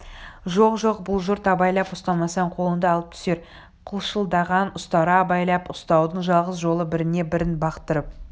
жоқ-жоқ бұл жұрт абайлап ұстамасаң қолыңды алып түсер қылшылдаған ұстара абайлап ұстаудың жалғыз жолы біріне-бірін бақтырып